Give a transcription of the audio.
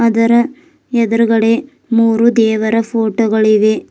ಅದರ ಎದ್ರುಗಡೆ ಮೂರು ದೇವರ ಫೋಟೋ ಗಳಿವೆ.